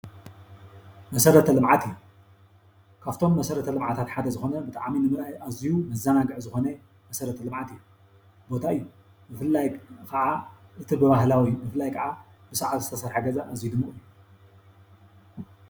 መሰረተ ልምዓት እዩ ካብቶም መሰረተ ልምዓታት እዩ። ካፍቶም መሰረተ ልምዓታት ሓደ ዝኮነ ኣዝዩ መዘናግዒ ዝኮነ መሰረተ ልምዓት እዩ። ቦታ እዩ። ብፍላይ ከዓ እቲ ብባህላዊ ብሳዕሪ ዝተሰረሐ ገዛ እዩ ።